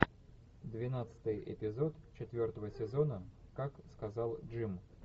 двенадцатый эпизод четвертого сезона как сказал джим